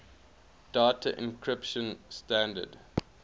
data encryption standard